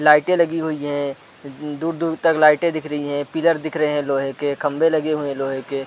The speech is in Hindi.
लाइटें लगी हुई है दूर-दूर तक लाइटें दिख रही है पिलर दिख रहे है लोहे के खंबे लगे हुई है लोहे के --